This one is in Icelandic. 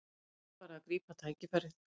Nú er bara að grípa tækifærið